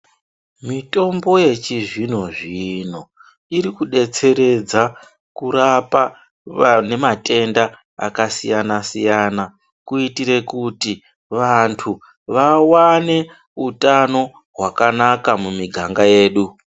Mitombo yechizvino zvino irikudetseredza kurapa vane matenda aka siyana siyana kuitire kuti vanthu vawane utano hwakanaka mumiganga yedu.